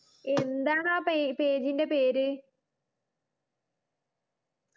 എന്താണ് ആ പേ page ന്റെ പേര്